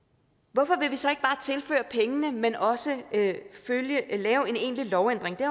hvorfor vil vi så ikke bare tilføre pengene men også lave en egentlig lovændring det